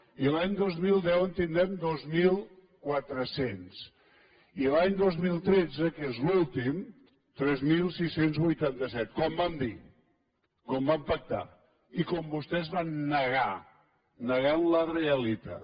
i a l’any dos mil deu en tindrem dos mil quatre cents i l’any dos mil tretze que és l’últim tres mil sis cents i vuitanta set com vam dir com vam pactar i com vostès van negar negant la realitat